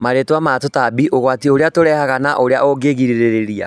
Marĩtwa ma tũtambi, ũgwati ũrĩa tũrehaga na ũrĩa ũngĩgirĩria